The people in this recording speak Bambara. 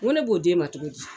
N go ne b'o d'e ma cogo di?